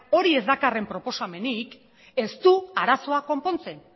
hori ez dakarren proposamenik ez du arazoa konpontzen